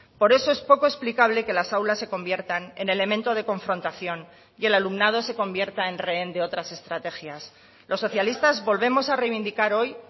por eso es poco explicable que las aulas se conviertan en elemento de confrontación y el alumnado se convierta en rehén de otras estrategias los socialistas volvemos a reivindicar hoy